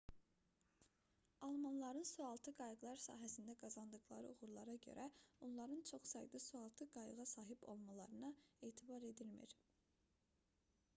almanların sualtı qayıqlar sahəsində qazandıqları uğurlara görə onların çox sayda sualtı qayığa sahib olmalarına etibar edilmir